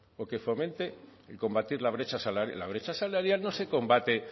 o que fomente el combatir la brecha salarial la brecha salarial no se combate